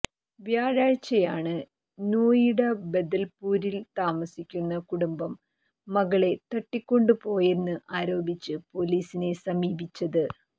വ്യാഴാഴ്ചയാണ് നോയിഡ ബദൽപുരിൽ താമസിക്കുന്ന കുടുംബം മകളെ തട്ടിക്കൊണ്ടുപോയെന്ന് ആരോപിച്ച് പൊലീസിനെ സമീപിച്ചത്